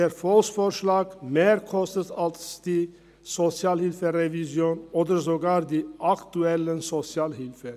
Der Volksvorschlag kostet mehr als die SHG-Revision oder sogar mehr als die aktuelle Sozialhilfe.